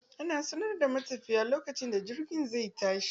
Ana sanar da matafiya lokacin da jirgin zai tashi.